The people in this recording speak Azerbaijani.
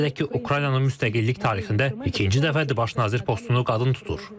Qeyd edək ki, Ukraynanın müstəqillik tarixində ikinci dəfədir baş nazir postunu qadın tutur.